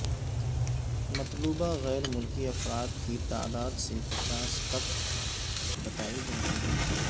مطلوبہ غیر ملکی افراد کی تعداد دسے پچاس تک بتائی جاتی ہے